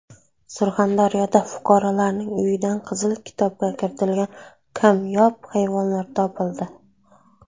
Surxondaryoda fuqarolarning uyidan Qizil kitobga kiritilgan kamyob hayvonlar topildi.